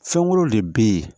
Fɛn wɛrɛw de bɛ ye